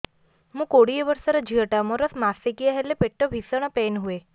ମୁ କୋଡ଼ିଏ ବର୍ଷର ଝିଅ ଟା ମୋର ମାସିକିଆ ହେଲେ ପେଟ ଭୀଷଣ ପେନ ହୁଏ